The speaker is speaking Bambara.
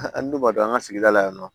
An dun b'a dɔn an ka sigida la yan nɔ